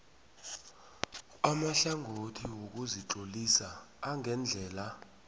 amahlangothi wokuzitlolisa angendlela